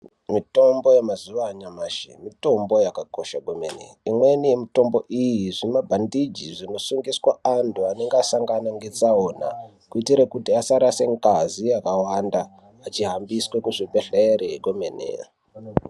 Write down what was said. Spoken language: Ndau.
Mitombo yemazuva anyamashi mitombo yakakosha kwemene. Imweni yemitombo iyi zvimabhandiji zvinosungiswa antu anenge asangana netsaona kuitira kuti asarase ngazi yakawanda, achihambiswe kuzvibhedhlere kwemene.